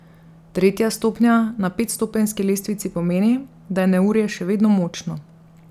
Tretja stopnja na petstopenjski lestvici pomeni, da je neurje še vedno močno.